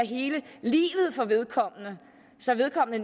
livet for vedkommende så vedkommende